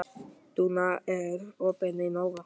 Dúnna, er opið í Nova?